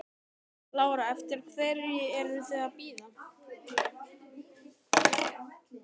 Lára: Eftir hverri ertu að bíða?